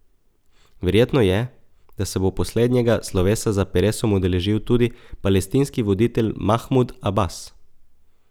Verjetno je, da se bo poslednjega slovesa za Peresom udeležil tudi palestinski voditelj Mahmud Abas.